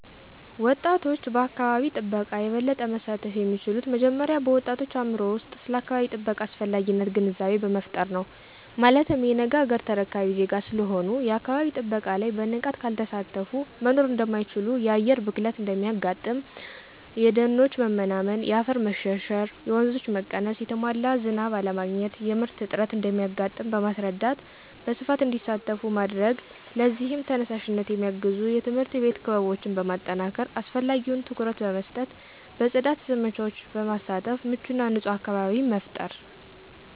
ወጣቶች በአካባቢ ጥበቃ የበለጠ መሳተፍ የሚችሉት መጀመሪያ በወጣቶች አእምሮ ውስጥ ስለ አካባቢ ጥበቃ አስፈላጊነት ግንዛቤ በመፍጠር ነው። ማለትም የነገ አገር ተረካቢ ዜጋ ስለሆኑ የአካባቢ ጥበቃ ላይ በንቃት ካልተሳተፊ መኖር እደማይችሉ የአየር ብክለት እንደሚያጋጥም :የደኖች መመናመን :የአፈር መሸርሸር :የወንዞች መቀነስ: የተሟላ ዝናብ አለማግኘት :የምርት እጥረት እንደሚያጋጥም በማስረዳት በስፋት እንዲሳተፉ ማድረግ ለዚህም ተነሳሽነት የሚያግዙ የትምህርት ቤት ክበቦችን በማጠናከር አስፈላጊውን ትኩረት በመስጠት በጽዳት ዘመቻወች በመሳተፍ ምቹና ንጹህ አካባቢን መፍጠር።